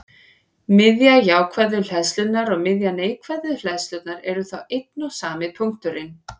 Miðja jákvæðu hleðslunnar og miðja neikvæðu hleðslunnar eru þá einn og sami punkturinn.